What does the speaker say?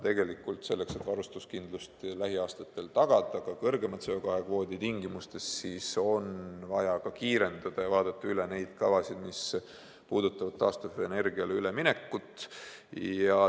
Aga selleks, et varustuskindlust lähiaastatel tagada ka kõrgema CO2 kvoodi tingimustes, on vaja kiiresti üle vaadata need kavad, mis puudutavad taastuvenergiale üleminekut.